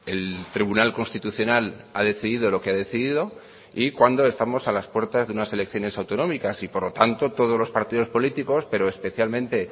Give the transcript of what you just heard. el tribunal constitucional ha decidido lo que ha decidido y cuando estamos a las puertas de unas elecciones autonómicas y por lo tanto todos los partidos políticos pero especialmente